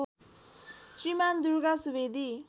Shriman Durga Subedi